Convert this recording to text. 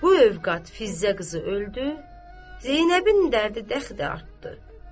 Bu övqat Fiziə qızı öldü, Zeynəbin dərdi dəxi artdı.